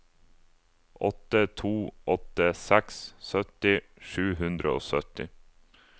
åtte to åtte seks sytti sju hundre og sytti